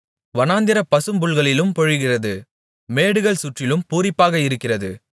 வனாந்திர பசும்புல்களிலும் பொழிகிறது மேடுகள் சுற்றிலும் பூரிப்பாக இருக்கிறது